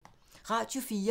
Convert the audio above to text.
Radio 4